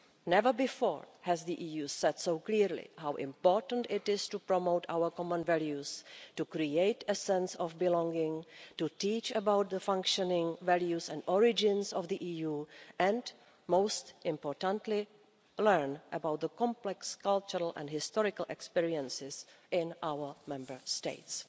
Never before has the EU said so clearly how important it is to promote our common values, to create a sense of belonging, to teach about the functioning values and origins of the EU, and, most importantly, learn about the complex cultural and historical experiences in our Member States.